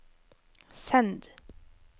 send